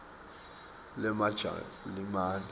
lemajalimane